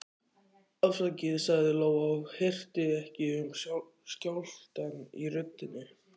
Afsakið, sagði Lóa og hirti ekki um skjálftann í röddinni.